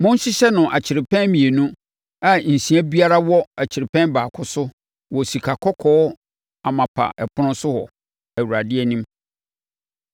Monhyehyɛ no akyerɛpɛn mmienu, a nsia biara wɔ kyerɛpɛn baako so wɔ sikakɔkɔɔ amapa ɛpono so wɔ Awurade anim.